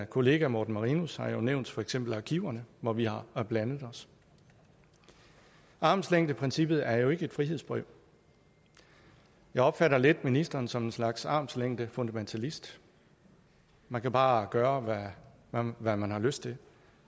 kollega morten marinus har jo nævnt for eksempel arkiverne hvor vi har blandet os armslængdeprincippet er jo ikke et frihedsbrev jeg opfatter lidt ministeren som en slags armslængdefundamentalist man kan bare gøre hvad man har lyst til